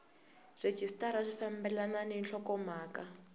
rhejisitara swi fambelana ni nhlokomhaka